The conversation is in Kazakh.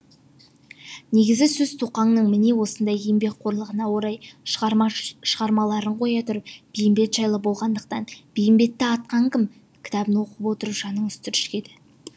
негізгі сөз тоқаңның міне осындай еңбекқорлығына орай шығармаларын қоя тұрып бейімбет жайлы болғандықтан бейімбетті атқан кім кітабын оқып отырып жаныңыз түршігеді